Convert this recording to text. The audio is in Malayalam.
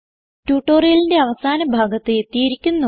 ട്യൂട്ടോറിയലിന്റെ അവസാന ഭാഗത്ത് എത്തിയിരിക്കുന്നു